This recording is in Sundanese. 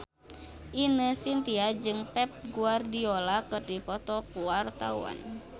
Ine Shintya jeung Pep Guardiola keur dipoto ku wartawan